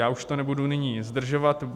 Já už to nebudu nyní zdržovat.